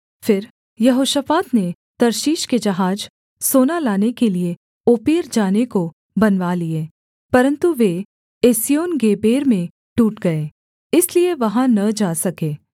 फिर यहोशापात ने तर्शीश के जहाज सोना लाने के लिये ओपीर जाने को बनवा लिए परन्तु वे एस्योनगेबेर में टूट गए इसलिए वहाँ न जा सके